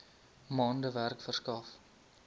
maande werk verskaf